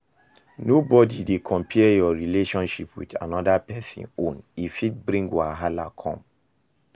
No dey compare your relationship with another person own e fit bring wahala come